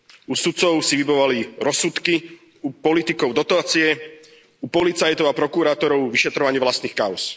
U sudcov si vybavovali rozsudky, u politikov dotácie, u policajtov a prokurátorov vyšetrovanie vlastných káuz.